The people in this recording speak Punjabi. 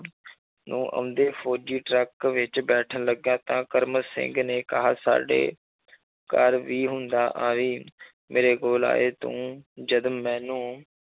ਨੂੰ ਆਉਂਦੇ ਫ਼ੌਜ਼ੀ ਟਰੱਕ ਵਿੱਚ ਬੈਠਣ ਲੱਗਿਆ ਤਾਂ ਕਰਮ ਸਿੰਘ ਨੇ ਕਿਹਾ ਸਾਡੇ ਘਰ ਵੀ ਹੁੰਦਾ ਆਵੀਂ ਮੇਰੇ ਕੋਲ ਆਏ ਤੂੰ ਜਦ ਮੈਨੂੰ